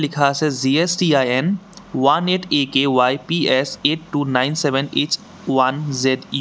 লিখা আছে G S T I N one eight A K Y P S eight two nine seven H one Z U.